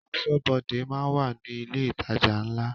Aṣọ́bọdè máa ń wà ní ilé ìtajà ńlá